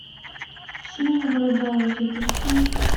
синяя борода запусти